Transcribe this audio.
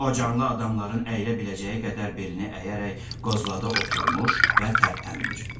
O canlı adamların əyilə biləcəyi qədər belini əyərək qozladı oturmuş və tərpənmir.